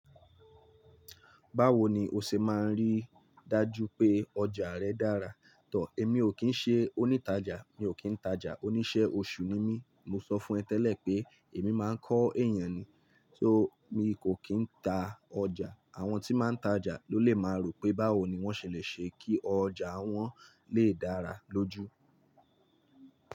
Báwo ni o ṣe máa ń rí dájú pé ọjà rẹ dára? Tọ̀, èmi ò kí ń ṣe onítajà, mi ò kí ń tajà, oníṣẹ́ oṣù ni mí. Mo sọ fún ẹ tẹ́lẹ̀ pé èmi máa ń kọ́ èèyàn ni, só mi kò kí ń ta ọjà. Àwọn tí máa ń tajà ló lè máa rò pé báwo ni wọ́n ṣèlè ṣe kí ọjà wọn lè dára lójú.